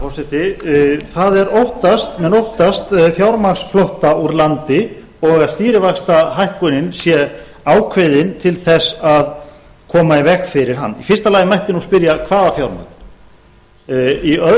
forseti menn óttast fjármagnsflótta úr landi og að stýrivaxtahækkunin sé ákveðin til þess að koma í veg fyrir hann í fyrsta lagi mætti nú spyrja hvaða fjármagn í öðru